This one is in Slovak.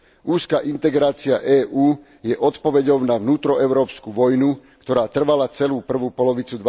Úzka integrácia EÚ je odpoveďou na vnútroeurópsku vojnu, ktorá trvala celú prvú polovicu